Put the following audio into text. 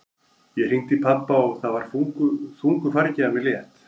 Ég hringdi í pabba og það var þungu fargi af mér létt.